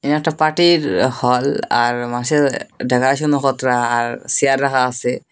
এ একটা পার্টির হল আর দেখাশোনা পত্র আর চেয়ার রাখা আসে।